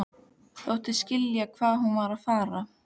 Þóttist skilja hvað hún var að fara.